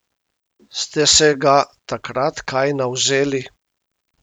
Ste se ga takrat kaj navzeli?